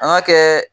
An ka kɛ